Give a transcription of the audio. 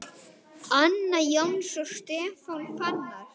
Anna Jóns og Stefán Fannar.